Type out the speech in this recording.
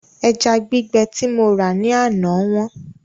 Ẹja gbígbẹ tí mo rà ní àná wọ́n